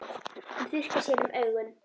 Hún þurrkar sér um augun.